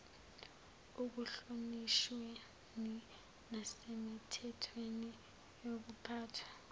ekuhlonishweni nasemithethweni yokuphathwa